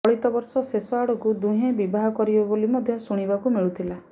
ଚଳିତ ବର୍ଷ ଶେଷ ଆଡ଼କୁ ଦୁହେଁ ବିବାହ କରିବେ ବୋଲି ମଧ୍ୟ ଶୁଣିବାକୁ ମିଳୁଥିଲା